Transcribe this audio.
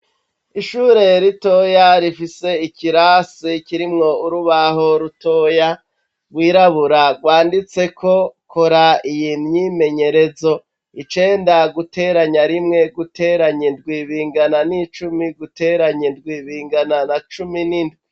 Ishure ritoya rifise ikirasi kirimwo urabaho rutoya rwirabura rwandatsiko kora iyi imyimyerezo icenda guteranya rimwe guteranya indwi bingana nicumi guteranya indwi bingana na cumi nindwi.